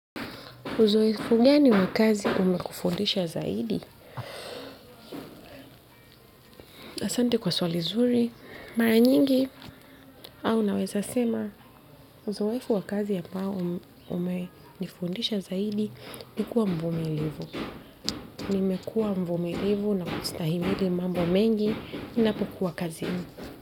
Uzoefu gani wa kazi umekufundisha zaidi? Asante kwa swali zuri, mara nyingi au naweza sema uzoefu wa kazi ambao umenifundisha zaidi ni kuwa mvumilivu. Nimekuwa mvumilivu na kustahimili mambo mengi ninapokuwa kazini.